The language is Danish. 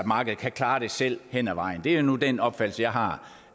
markedet kan klare det selv hen ad vejen det er nu den opfattelse jeg har